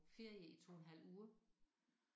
Ferie i 2 en halv uge